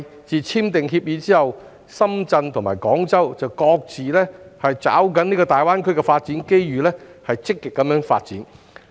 自簽訂協議以來，深圳及廣州均各自抓緊大灣區的發展機遇積極發展。